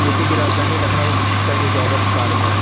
U P की राजधानी लखनऊ का ये जागर्स पार्क है।